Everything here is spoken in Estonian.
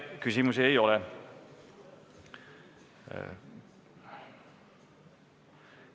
Teile küsimusi ei ole.